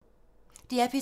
DR P3